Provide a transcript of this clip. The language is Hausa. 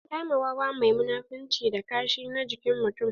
An kama wawa mai munafunci da kashi na jikin mutum.